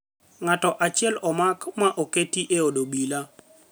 Ng'ato achiel omak ma oketi e od obila